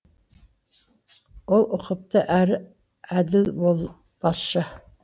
ол ұқыпты әрі әділ басшы